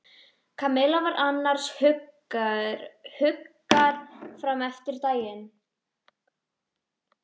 Kamilla var annars hugar fram eftir degi.